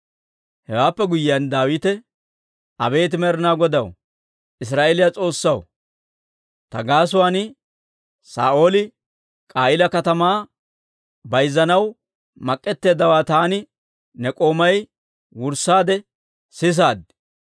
Hewaappe guyyiyaan Daawite, «Abeet Med'inaa Godaw, Israa'eeliyaa S'oossaw, ta gaasuwaan Saa'ooli K'a'iila katamaa bayzanaw mak'k'eteeddawaa taani ne k'oomay wurssaade sisaad.